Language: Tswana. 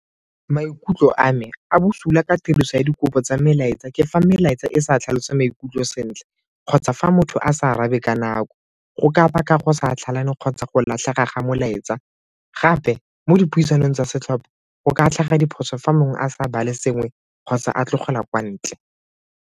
Maikutlo a me a bosula ka tiriso ya dikopo tsa melaetsa ke fa melaetsa e sa tlhalosa maikutlo sentle kgotsa fa motho a sa arabe ka nako, go ka baka go sa kgotsa go latlhega ga molaetsa. Gape mo dipuisanong tsa setlhopa go ka tlhaga diphoso fa mongwe a sa bale sengwe kgotsa a tlogelwa kwa ntle.